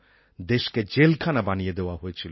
দেশকে জেলখানা বানিয়ে দেওয়া হয়েছিল